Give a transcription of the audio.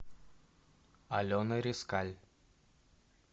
алена резкаль